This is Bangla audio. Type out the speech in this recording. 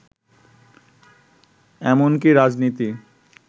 এমনকি রাজনীতি